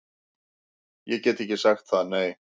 Ég get ekki sagt það, nei